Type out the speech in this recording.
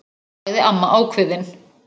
sagði amma ákveðin.